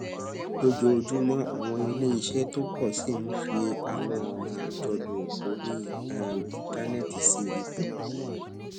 lójoojúmọ àwọn iléeṣẹ tó pọ sí i ń fi àwọn ònà àjọlò orí um íńtánéètì sí ipò